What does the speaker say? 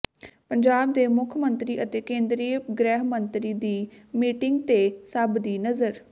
ਪੰਜਾਬ ਦੇ ਮੁਖ ਮੰਤਰੀ ਅਤੇ ਕੇਂਦਰੀ ਗ੍ਰਹਿ ਮੰਤਰੀ ਦੀ ਮੀਟਿੰਗ ਤੇ ਸਭ ਦੀ ਨਜ਼ਰ